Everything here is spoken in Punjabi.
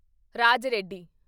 ਰਾਜ ਰੈਡੀ